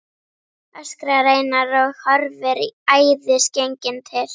öskrar Einar og horfir æðisgenginn til